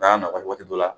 N'a nɔgɔ waati dɔ la